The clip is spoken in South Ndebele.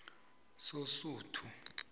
sosuthu